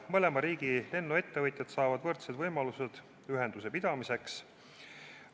Mõlema riigi lennuettevõtjad saavad võrdsed võimalused ühenduse pidamiseks.